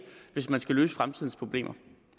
hvis man skal løse fremtidens problemer